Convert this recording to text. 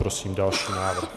Prosím další návrh.